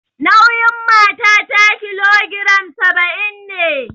Nauyin matata kilogiram saba'in ne